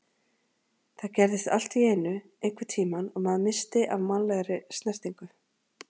Það gerðist allt í einu einhvern tímann að maður missti af mannlegri snertingu.